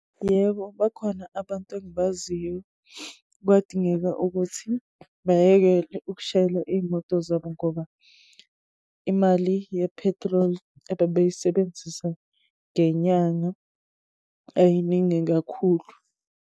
Yebo, bakhona abantu engibaziyo. Kwadingeka ukuthi bayekele ukushayela iy'moto zabo, ngoba imali yephetroli ebebeyisebenzisa ngenyanga ayiningi kakhulu.